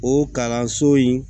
O kalanso in